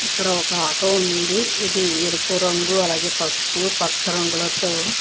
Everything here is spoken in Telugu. ఇక్కడ ఒక ఆటో ఉంది. ఇది ఎరుపు రంగు అలాగే పసుపు పచ్చ రంగులతో --